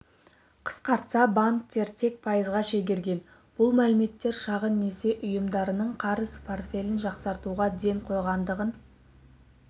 қысқартса банктер тек пайызға шегерген бұл мәліметтер шағын несие ұйымдарының қарыз портфелін жақсартуға ден қойғандығын